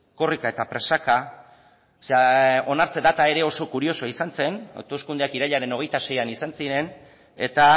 korrika eta presaka onartze data ere oso kuriosoa izan zen hauteskundeak irailaren hogeita seian izan ziren eta